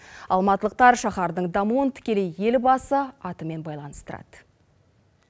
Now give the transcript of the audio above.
алматылықтар шаһардың дамуын тікелей елбасы атымен байланыстырады